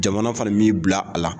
Jamana fana m'i bila a la